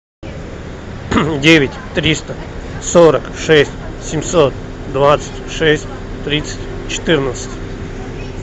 девять триста сорок шесть семьсот двадцать шесть тридцать четырнадцать